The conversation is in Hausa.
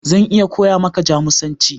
Zan iya koya maka Jamusanci.